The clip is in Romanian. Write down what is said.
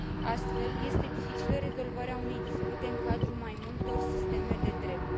Astfel, este dificilă rezolvarea unei dispute în cadrul mai multor sisteme de drept.